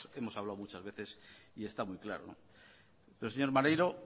bueno de eso hemos hablado muchas veces y está muy claro señor maneiro